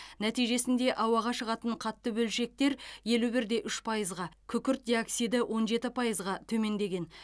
нәтижесінде ауаға шығатын қатты бөлшектер елу бірде үш пайызға күкірт диоксиді он жеті пайызға төмендеген